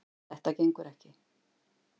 Þetta gengur ekki.